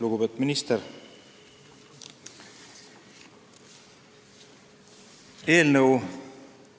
Lugupeetud minister!